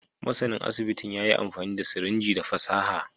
Masanin asibitin ya yi amfani da sirinji da fasaha